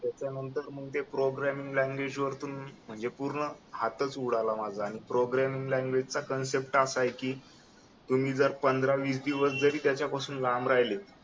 त्याच्यानंतर मग ते प्रोग्रॅमिंग लँग्वेज वर पण मी म्हणजे पूर्ण हातच उडाला माझा प्रोग्रामिंग लँग्वेज चा कन्सेप्ट असा आहे की तुम्ही जर पंधरा वीस दिवस जरी त्याच्यापासून लांब राहिले